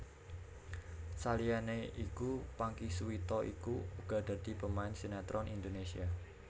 Saliyané iku Pangky Suwito iku uga dadi pemain sinetron Indonésia